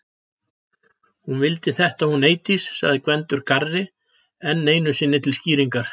Hún vildi þetta hún Eydís segir Gvendur garri enn einu sinni til skýringar.